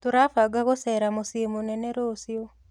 Tũrabanga gũcera mũciĩ mũnene rũciũ.